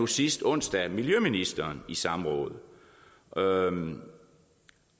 sidste onsdag miljøministeren i samråd og